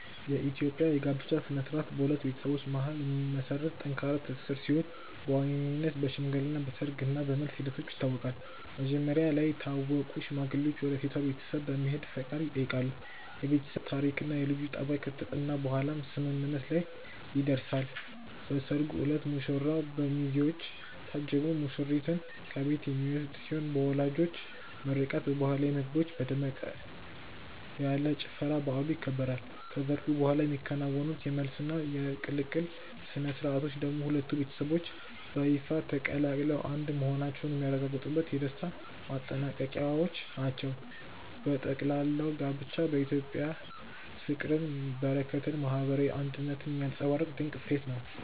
የኢትዮጵያ የጋብቻ ሥነ ሥርዓት በሁለት ቤተሰቦች መካከል የሚመሰረት ጠንካራ ትስስር ሲሆን በዋነኝነት በሽምግልና፣ በሰርግ እና በመልስ ሂደቶች ይታወቃል። መጀመሪያ ላይ የታወቁ ሽማግሌዎች ወደ ሴቷ ቤተሰብ በመሄድ ፈቃድ ይጠይቃሉ፤ የቤተሰብ ታሪክና የልጁ ጠባይ ከተጠና በኋላም ስምምነት ላይ ይደረሳል። በሰርጉ ዕለት ሙሽራው በሚዜዎች ታጅቦ ሙሽሪትን ከቤት የሚወስድ ሲሆን በወላጆች ምርቃት፣ በባህላዊ ምግቦችና በደመቅ ያለ ጭፈራ በዓሉ ይከበራል። ከሰርጉ በኋላ የሚከናወኑት የመልስና የቅልቅል ሥነ ሥርዓቶች ደግሞ ሁለቱ ቤተሰቦች በይፋ ተቀላቅለው አንድ መሆናቸውን የሚያረጋግጡበት የደስታ ማጠናቀቂያዎች ናቸው። በጠቅላላው ጋብቻ በኢትዮጵያ ፍቅርን፣ በረከትንና ማህበራዊ አንድነትን የሚያንፀባርቅ ድንቅ እሴት ነው።